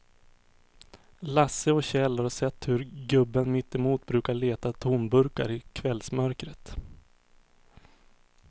Lasse och Kjell har sett hur gubben mittemot brukar leta tomburkar i kvällsmörkret.